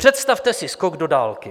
Představte si skok do dálky.